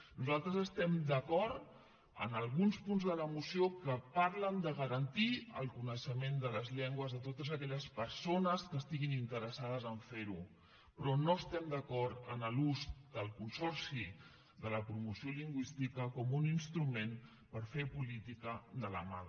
nosaltres estem d’acord en alguns punts de la moció que parlen de garantir el coneixement de les llengües a totes aquelles persones que estiguin interessades a fer ho però no estem d’acord en l’ús del consorci de la promoció lingüística com un instrument per fer política de la mala